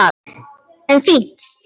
En fínt skyldi það vera!